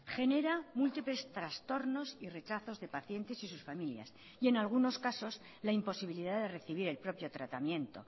genera múltiples trastornos y rechazos de pacientes y sus familias y en algunos casos la imposibilidad de recibir el propio tratamiento